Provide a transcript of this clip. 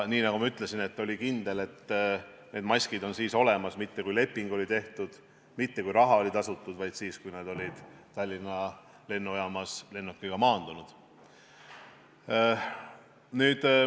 Nii nagu ma ütlesin, kindel, et maskid on olemas, ei saanud olla mitte siis, kui leping oli tehtud, mitte siis, kui raha oli tasutud, vaid siis, kui nad olid Tallinna lennujaamas lennukiga maandunud.